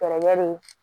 Kɛlɛ bɛ